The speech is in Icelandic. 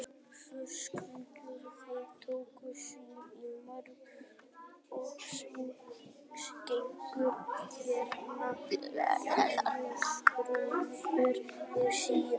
Höskuldur: Þið tókuð sýni í morgun og genguð hérna fjöruna, hver er staðan?